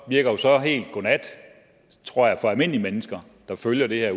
virker så helt godnat tror jeg for helt almindelige mennesker der følger det her